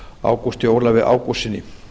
ágústi ólafi ágústssyni